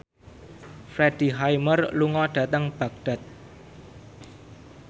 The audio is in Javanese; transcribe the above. Freddie Highmore lunga dhateng Baghdad